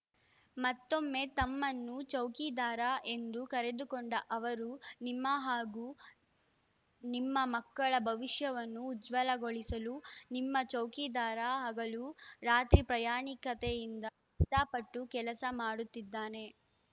ಮತ್ತೊಮ್ಮೆ ತಮ್ಮನ್ನು ಚೌಕಿದಾರ ಎಂದು ಕರೆದುಕೊಂಡ ಅವರು ನಿಮ್ಮ ಹಾಗೂ ನಿಮ್ಮ ಮಕ್ಕಳ ಭವಿಷ್ಯವನ್ನು ಉಜ್ವಲಗೊಳಿಸಲು ನಿಮ್ಮ ಚೌಕಿದಾರ ಹಗಲು ರಾತ್ರಿ ಪ್ರಾಯಾಣಿಕತೆಯಿಂದ ಕಷ್ಟಪಟ್ಟು ಕೆಲಸ ಮಾಡುತ್ತಿದ್ದಾನೆ